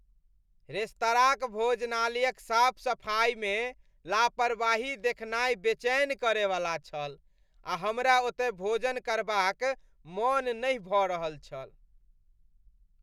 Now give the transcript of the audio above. रेस्तराँक भोजनालयक साफ सफाइमे लापरवाही देखनाय बेचैन करयवला छल आ हमरा ओतय भोजन करबाक मन नहि भऽ रहल छल।